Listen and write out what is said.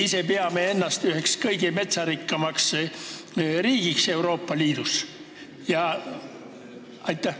Me ise peame ennast ju üheks kõige metsarikkamaks riigiks Euroopa Liidus?